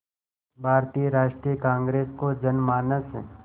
भारतीय राष्ट्रीय कांग्रेस को जनमानस